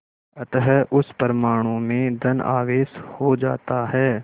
अतः उस परमाणु में धन आवेश हो जाता है